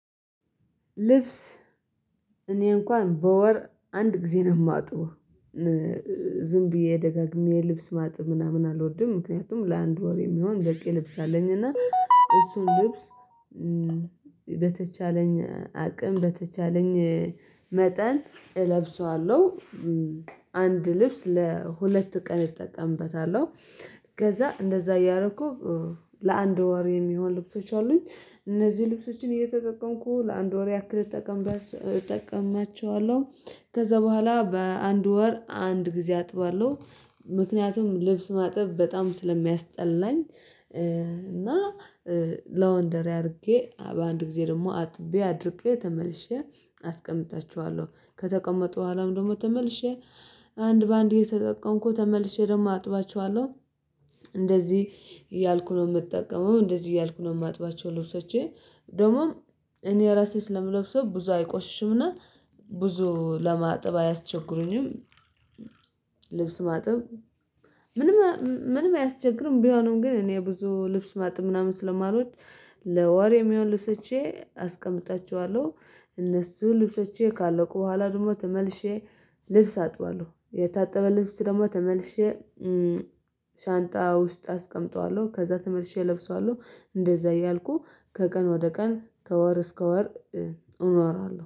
ልብስ እኔ እንኳን በወር አንድ ጊዜ ነው የማጥበው። ዝም ብዬ ደጋግሜ የልብስ ማጠብ ምናምን አልወድም ምክንያቱም ለአንድ ወር የሚሆን ደቂ ልብስ አለኝ እና እሱን ልብስ በተቻለኝ አቅም በተቻለኝ መጠን እለብሰዋለሁ። አንድ ልብስ ለሁለት ቀን እጠቀምበታለሁ ከዛ እንደዛ እያደረኩ ለአንድ ወር የሚሆን ልብሶች አሉኝ እነዚህ ልብሶችን እየተጠቀምኩ ለአንድ ወር ያክል እጠቀማቸዋለሁ። ከዛ በኋላ በአንድ ወር አንድ ጊዜ አጥባለሁ። ምክንያቱም ልብስ ማጥብ በጣም ስለሚያስጠላኝ። እና ለወንደሪ አድርጌ በአንድ ጊዜ ደግሞ አጥቤ አድርቄ ተመልሼ አስቀምጣችኋለሁ ከተቀመጡ በኋላ ደግሞ ተመልሼ አንድ በአንድ እየተጠቀምኩ ተመልሼ ደግሞ አጥባቸዋለሁ። እንደዚህ እያልኩ ነው የምጠቀመው እንደዚህ እያልኩ ነው የማጥባቸው። ልብሶቼን ደግሞ እኔ ራሴ ስለምለብሰው ብዙ አይቆሽሽምና ብዙ ለማጥብ አያስቸግሩኝም። ልብስ ማጥብ ምንም ምንም አያስቸግርም ቢሆንም ግን እኔ ብዙ ልብስ ማጠብ ምናምን ስለማሎድ። ለወር ሚሆን ልብሶቼ አስቀምጣችኋለሁ እነሱ ልብሶቼ ካለቁ በኋላ ደግሞ ተመልሼ ልብስ አጥባለሁ። የታጠበ ልብስ ደግሞ ተመልሼ ሻንጣ ውስጥ አስቀምጠዋለሁ ከዛ ተመልሼ እለብሰዋለሁ። እንደዛ እያልኩ ከቀን ወደ ቀን ከወር እስከ ወር እኖራለሁ